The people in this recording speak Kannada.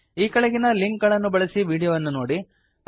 ಈ ಕೆಳಗಿನ ಲಿಂಕ್ ಗಳನ್ನು ಬಳಸಿ ವೀಡಿಯೋಗಳನ್ನು ನೋಡಿ